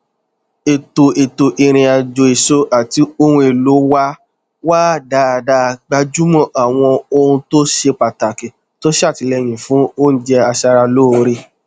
ètò ètò ìrìn àjò èso àti ohun èlò wa wà dáadáa gbájúmọ àwọn ohuntó ṣe pàtàkì tó ṣàtìlẹyìn fún oúnjẹ aṣaralóore